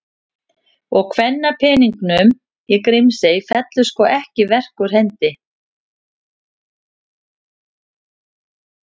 Og kvenpeningnum í Grímsey fellur sko ekki verk úr hendi.